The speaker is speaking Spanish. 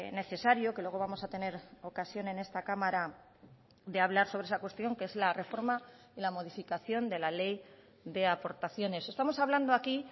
necesario que luego vamos a tener ocasión en esta cámara de hablar sobre esa cuestión que es la reforma y la modificación de la ley de aportaciones estamos hablando aquí